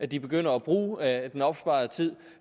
de begynder at bruge af den opsparede tid